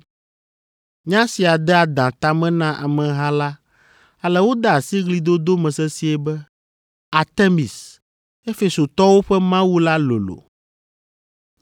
Nya sia de adã ta me na ameha la ale wode asi ɣlidodo me sesĩe be, “Artemis, Efesotɔwo ƒe mawu la lolo!”